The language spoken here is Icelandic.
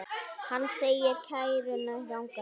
Hann segir kæruna ranga.